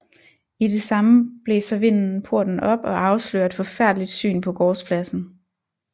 I det samme blæser vinden porten op og afslører et forfærdeligt syn på gårdspladsen